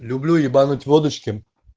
люблю ебануть водочки